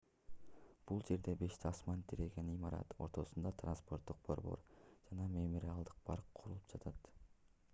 бул жерде беш асман тиреген имарат ортосунда транспорттук борбор жана мемориалдык парк курулуп жатат